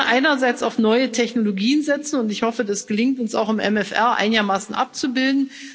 einerseits auf neue Technologien setzen, und ich hoffe, es gelingt uns auch, das im MFR einigermaßen abzubilden.